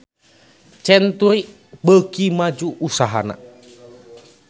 Century beuki maju usahana